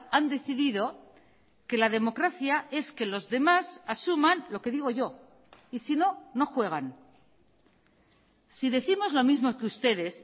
han decidido que la democracia es que los demás asuman lo que digo yo y si no no juegan si décimos lo mismo que ustedes